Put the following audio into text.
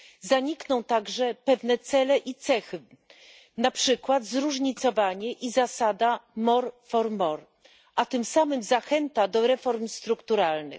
Zanikną także pewne cele i cechy, na przykład zróżnicowanie i zasada more for more a tym samym zachęta do reform strukturalnych.